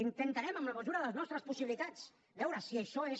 intentarem en la mesura de les nostres possibilitats veure si això és